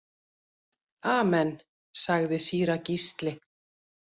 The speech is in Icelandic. Amen, sagði síra Gísli.